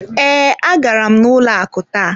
Ee, agara m n'ụlọ akụ taa.